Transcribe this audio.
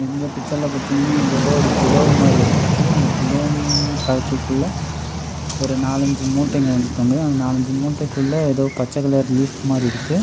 இந்த பிச்சர்ல பாத்தீங்கன்னா இது ஏதோ ஒரு குடோன் மாரி இருக்கு இந்த குடோன் ஃபேக்டரிக்குள்ள ஒரு நாலு அஞ்சு மூட்டைங்க வந்து தொங்குது அந்த நாலு அஞ்சு மூட்டைகுள்ள ஏதோ பச்ச கலர் லீப் மாரி இருக்கு.